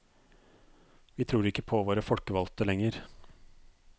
Vi tror ikke på våre folkevalgte lenger.